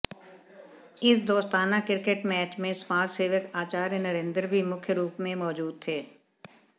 इस दोस्ताना cricket match में समाजसेवक आचार्य नरेंद्र भी मुख्य रुप में मौजूद थे